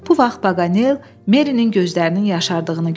Bu vaxt Paqanel Merinin gözlərinin yaşardığını gördü.